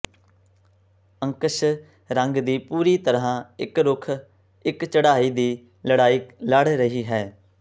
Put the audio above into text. ਅੰਸ਼ਕ ਰੰਗ ਦੀ ਪੂਰੀ ਤਰ੍ਹਾਂ ਇੱਕ ਰੁੱਖ ਇੱਕ ਚੜ੍ਹਾਈ ਦੀ ਲੜਾਈ ਲੜ ਰਹੀ ਹੈ